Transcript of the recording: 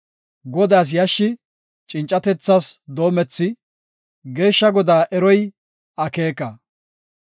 Godaas yashshi cincatethas doomethi, Geeshsha Godaa eroy akeeka.